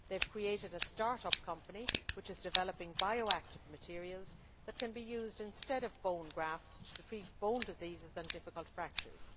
They have created a start up company which is developing bioactive materials that can be used instead of bone grafts to treat bone diseases and difficult fractures.